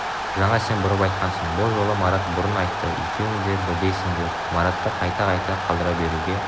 жаңа сен бұрын айтқансың бұл жолы марат бұрын айтты екеуің де бірдейсіңдер маратты қайта-қайта қалдыра беруге